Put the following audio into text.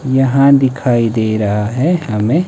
यहां दिखाई दे रहा है हमें--